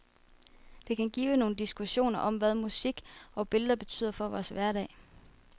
Det kan give nogle diskussioner om, hvad musik og billeder betyder for vores hverdag.